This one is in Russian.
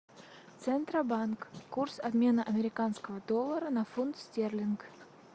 центробанк курс обмена американского доллара на фунт стерлинг